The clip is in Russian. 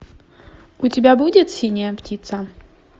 у тебя будет синяя птица